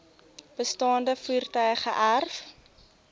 bestaande voertuie geërf